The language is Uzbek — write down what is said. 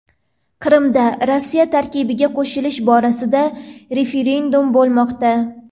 Qrimda Rossiya tarkibiga qo‘shilish borasida referendum bo‘lmoqda.